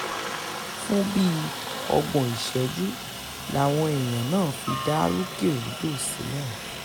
fún bíi ọgbọ̀n ìṣẹ́jú làwọn èèyàn náà fi dá rúkèrúdò sílẹ̀